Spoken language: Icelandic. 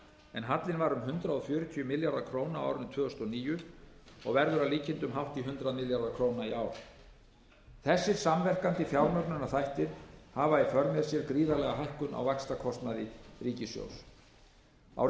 en hallinn var um hundrað fjörutíu milljarðar króna á árinu tvö þúsund og níu og verður að líkindum hátt í hundrað milljarðar króna í ár þessir samverkandi fjármögnunarþættir hafa í för með sér gríðarlega hækkun á vaxtakostnaði ríkissjóðs árið